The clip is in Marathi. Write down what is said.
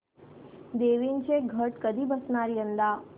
देवींचे घट कधी बसणार यंदा